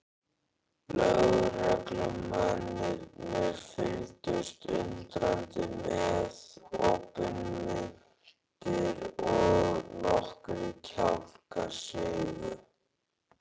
Lögreglumennirnir fylgdust undrandi með, opinmynntir og nokkrir kjálkar sigu.